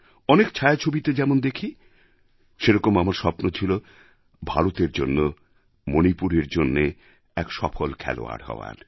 অনেক ছায়াছবিতে যেমন দেখি সেরকম আমার স্বপ্ন ছিল ভারতের জন্যমণিপুরের জন্য এক সফল খেলোয়াড় হওয়ার